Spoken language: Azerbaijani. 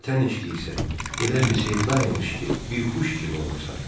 Vətən eşqi isə elə bir sevda imiş ki, bixuş kimi olursan.